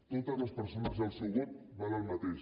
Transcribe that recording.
totes les persones i el seu vot valen el mateix